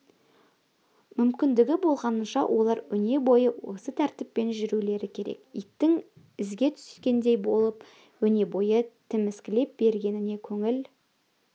мүмкіндігі болғанынша олар өнебойы осы тәртіппен жүрулері керек иттің ізге түскендей боп өнебойы тіміскілей бергеніне көңіл